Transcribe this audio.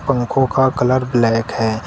पंखों का colour black है।